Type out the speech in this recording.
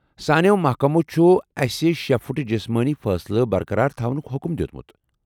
سانٮ۪و محکمو چھُ آسہِ شےٚ فُٹ جِسمٲنی فٲصلہٕ برقرار تھاونُک حکم دِیوٚتمُت۔